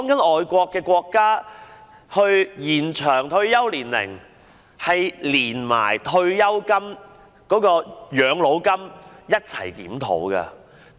外國國家討論延長退休年齡時，是連同退休金或養老金一併檢討的。